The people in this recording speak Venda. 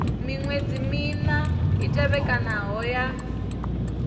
miṅwedzi mina i tevhekanaho ya